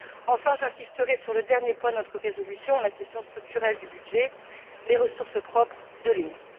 Enfin, j'insisterai sur le dernier point de notre résolution, la question structurelle du budget les ressources propres de l'Union.